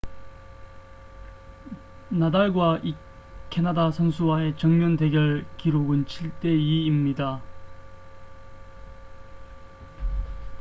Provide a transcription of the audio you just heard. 나달과 이 캐나다 선수와의 정면 대결 기록은 7 대 2입니다